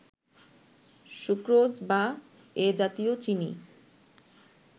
sucrose বা এ জাতীয় চিনি